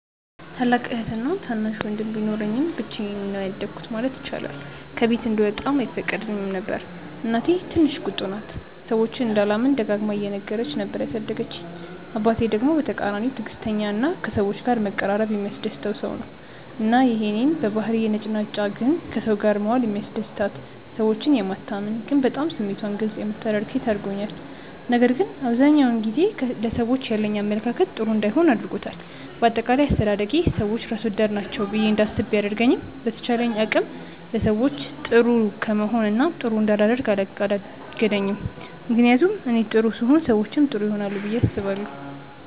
ታላቅ እህትና ታናሽ ወንድም ቢኖረኝም ብቻዬን ነው ያደኩት ማለት ይቻላል። ከቤት እንድወጣም አይፈቀድልኝም ነበር። እናቴ ትንሽ ቁጡ ናት፤ ሰዎችን እንዳላምን ደጋግማ እየነገረች ነበር ያሳደገችኝ። አባቴ ደግሞ በተቃራኒው ትዕግስተኛ እና ከሰዎች ጋር መቀራረብ የሚያስደስተው ሰው ነው። እና ይሄ እኔን በባህሪዬ ነጭናጫ ግን ከሰው ጋር መዋል የሚያስደስታት፣ ሰዎችን የማታምን ግን በጣም ስሜቷን ግልፅ የምታደርግ ሴት አድርጎኛል። ነገር ግን አብዛኛውን ጊዜ ለሰዎች ያለኝ አመለካከት ጥሩ እንዳይሆን አድርጎታል። በአጠቃላይ አስተዳደጌ ሰዎች ራስ ወዳድ ናቸው ብዬ እንዳስብ ቢያደርገኝም በተቻለኝ አቅም ለሰዎች ጥሩ ከመሆን እና ጥሩ እንዳላደርግ አላገደኝም። ምክንያቱም እኔ ጥሩ ስሆን ሰዎችም ጥሩ ይሆናሉ ብዬ አስባለሁ።